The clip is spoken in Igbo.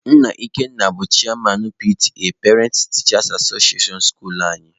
Nna Ikenna bụ cheyaman PTA(parents/teachers association) skuluu anyị.